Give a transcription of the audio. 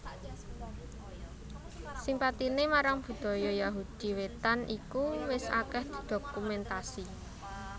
Simpatiné marang Budaya Yahudi wétan iku wis akèh didokumentasi